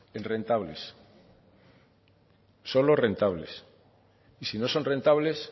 rentables solo rentables si no son rentables